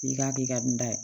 I k'a kɛ i ka nin da ye